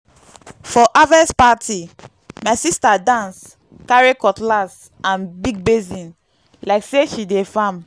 for harvest party my sister dance carry cutlass and big basin like say she dey farm.